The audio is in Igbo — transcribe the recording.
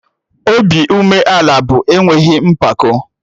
Obi umeala bụ enweghị mpako